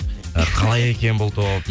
і қалай екен бұл топ